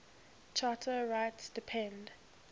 charter rights depend